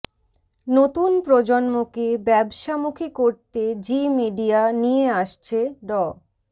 নতুন প্রজন্মকে ব্যবসামুখী করতে জি মিডিয়া নিয়ে আসছে ড